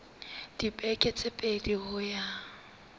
dibeke tse pedi ho ya